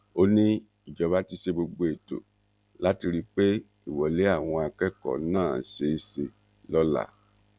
ó ní ìjọba ti ṣe gbogbo ètò láti rí i pé ìwọlé àwọn akẹkọọ náà ṣeé ṣe lọla